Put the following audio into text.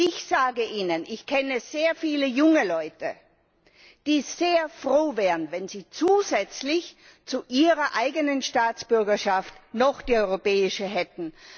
Ich sage Ihnen, ich kenne sehr viele junge Leute, die sehr froh wären, wenn sie zusätzlich zu ihrer eigenen Staatsbürgerschaft noch die europäische hätten.